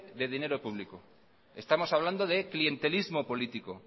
de dinero público estamos hablando de clientelismo político